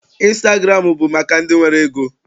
Ịnstagụramụ bụ maka ndị nwere ego.